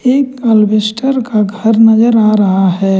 एक अल्बिस्टर का घर नजर आ रहा है।